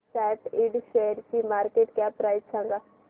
सॅट Ind शेअरची market cap price सांगा